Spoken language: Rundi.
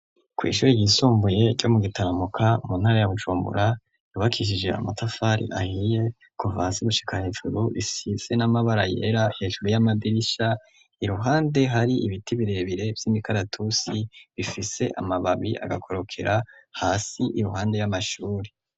Kw'ishuri ryisumbuye ryo mu gitaramuka mu ntara ya bujumbura yubakishije amatafari ahiye kuvasi gusika hejuru isise n'amabara yera hejuru y'amadirisha iruhande hari ibiti birebire by'imikaratusi bifise amababi agakorokera hasi iruhande y'amashuri.